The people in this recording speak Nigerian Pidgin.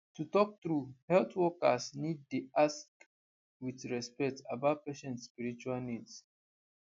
to talk true health workers need dey ask with respect about patient spiritual needs